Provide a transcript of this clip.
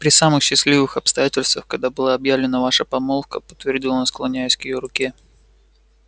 при самых счастливых обстоятельствах когда была объявлена ваша помолвка подтвердил он склоняясь к её руке